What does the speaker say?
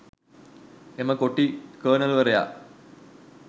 එම කොටි කර්නල්වරයා